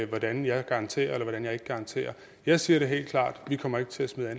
hvordan jeg garanterer eller hvordan jeg ikke garanterer jeg siger det helt klart vi kommer ikke til at smide